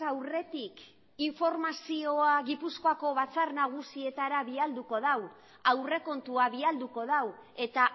aurretik informazioa gipuzkoako batzar nagusietara bialduko du aurrekontua bialduko du eta